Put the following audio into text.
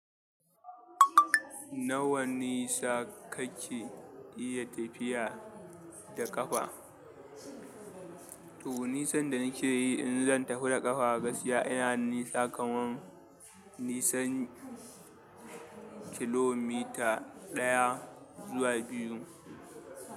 Nawa nisa kake iya tafiya da ƙafa? To, nisan da nake yi in zan tafi da ƙafa gaskiya ina nisa kaman nisan kilomita ɗaya zuwa biyu.